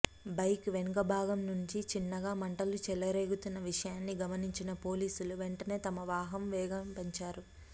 bike వెనక భాగం నుంచి చిన్నగా మంటలు చెలరేగుతున్న విషయాన్ని గమనించిన పోలీసులు వెంటనే తమ వాహనం వేగం పెంచారు